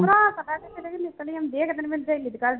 ਭਰਾ ਤਾਂ ਇੱਕ ਦਿਨ ਮੇਰੀ ਸਹੇਲੀ ਦੇ ਘਰ